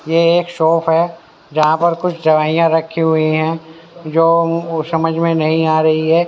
ये एक शॉप है जहां पर कुछ दवाइयां रखी हुई हैं जो समझ में नहीं आ रही है।